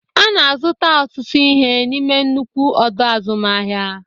Ana azụta ọtụtụ ihe n'ime nnukwu ọdọ azụmahịa.